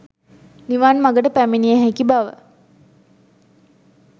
නිවන් මගට පැමිණිය හැකි බව